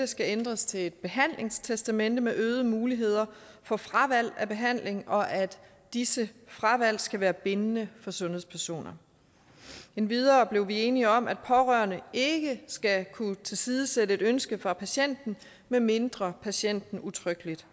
skal ændres til et behandlingstestamente med øgede muligheder for fravalg af behandling og at disse fravalg skal være bindende for sundhedspersoner endvidere blev vi enige om at pårørende ikke skal kunne tilsidesætte et ønske fra patienten medmindre patienten udtrykkeligt